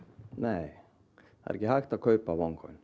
nei það er ekki hægt að kaupa